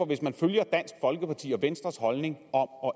hvis man følger dansk folkeparti og venstres holdning om